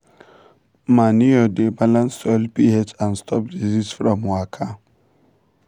manure dey balance soil ph and stop disease from waka.